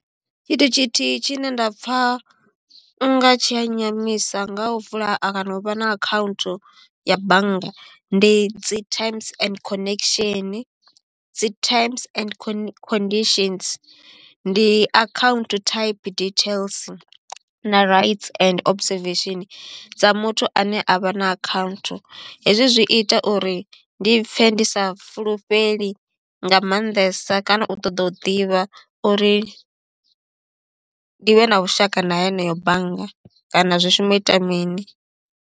Tshithu tshithihi tshi ne nda pfha unga tshi a nyamisa nga u vula kana u vha na account ya banngani ndi dzi terms and connection, dzi terms and conditions ndi account type details na right and observation dza muthu ane avha na account. Hezwi zwi ita uri ndi pfhe ndi sa fulufheli nga maanḓesa kana u ṱoḓa u ḓivha uri ndi vhe na vhushaka na heneyo bannga kana zwi shuma u ita mini.